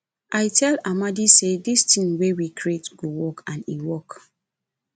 i tell amadi say dis thing wey we create go work and e work